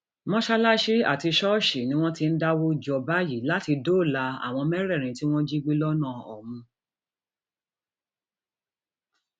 mọṣáláṣí àti ṣọọṣì ni wọn ti ń dáwọ jọ báyìí láti dóòlà àwọn mẹrẹẹrin tí wọn jí gbé lọnà òmu